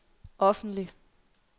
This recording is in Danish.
offentlig